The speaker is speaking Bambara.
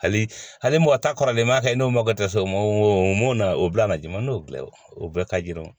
Hali hali mɔgɔ ta kɔrɔlen ma kɛ n'o mako tɛ so mun na o bila na joona n'o bila o bɛɛ ka jira o